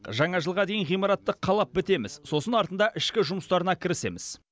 жаңа жылға дейін ғимаратты қалап бітеміз сосын артында ішкі жұмыстарына кірісеміз